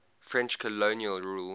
french colonial rule